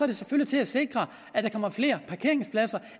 det selvfølgelig til at sikre at der kommer flere parkeringspladser